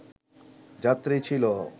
যাত্রী ছিল